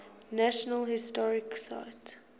national historic site